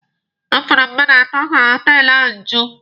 Ọ fọrọ mmadụ atọ ka họtelụ ahụ ju.